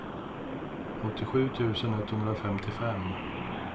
åttiosju tusen etthundrafemtiofem